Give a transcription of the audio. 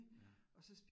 Ja